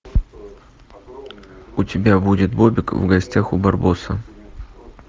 у тебя будет бобик в гостях у барбоса